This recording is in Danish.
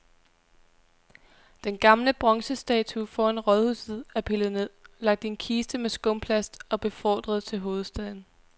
Den gamle bronzestatue foran rådhuset er pillet ned, lagt i en kiste med skumplast og befordret til hovedstaden.